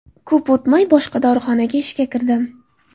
Ko‘p o‘tmay boshqa dorixonaga ishga kirdim.